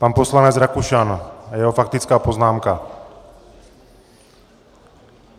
Pan poslanec Rakušan a jeho faktická poznámka.